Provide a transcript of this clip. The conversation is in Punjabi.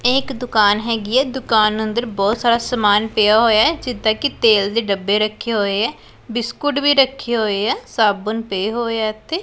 ਇਹ ਇੱਕ ਦੁਕਾਨ ਹੈਗੀ ਐ ਦੁਕਾਨ ਅੰਦਰ ਬਹੁਤ ਸਾਰਾ ਸਮਾਨ ਪਿਆ ਹੋਇਆ ਐ ਜਿਦਾਂ ਕਿ ਤੇਲ ਦੇ ਡੱਬੇ ਰੱਖੇ ਹੋਏ ਐ ਬਿਸਕੁਟ ਵੀ ਰੱਖੇ ਹੋਏ ਐ ਸਾਬੁਨ ਪਏ ਹੋਏ ਐ ਇੱਥੇ।